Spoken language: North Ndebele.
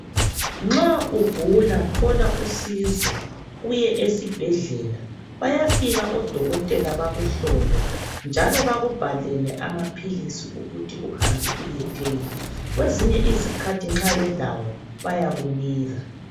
Nxa ugula, thola usizo. Uye esibhedlela. Bayafika odokotela bakuhlole, njalo bakubhalele amaphilisi ukuthi uhambe uyethenga. Kwezinye izikhathi nxa belawo, bayakunika.